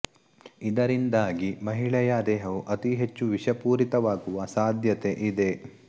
ಇದರಿಂದಾಗಿ ಮಹಿಳೆಯ ದೇಹವು ಅತಿ ಹೆಚ್ಚು ವಿಷಪೂರಿತವಾಗುವ ಸಾಧ್ಯತೆ ಇದೆ